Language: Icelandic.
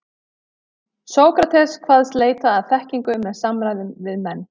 Sókrates kvaðst leita að þekkingu með samræðum við menn.